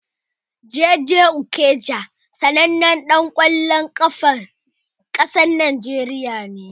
Jay jay Okocha sanannan ɗan ƙwallon ƙafan ƙasar Najeriya ne.